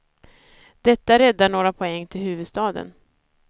Detta räddar några poäng till huvudstaden.